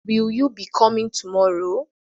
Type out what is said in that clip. Will you be coming tomorrow?